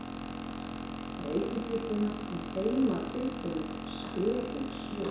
Reykir pípuna með heimatilbúnum spekingssvip.